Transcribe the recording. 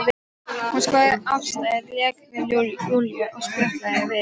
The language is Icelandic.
Hún skoðaði aðstæður, lék við Júlíu og spjallaði við mig.